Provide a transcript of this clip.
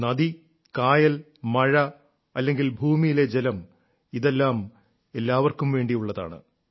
നദി കായൽ മഴ അല്ലെങ്കിൽ ഭൂമിയിലെ ജലം ഇതെല്ലാം എല്ലാവർക്കും വേണ്ടിയുള്ളതാണ്